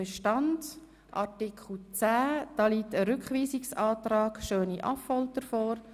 Zu Artikel 10 liegt ein Rückweisungsantrag vor.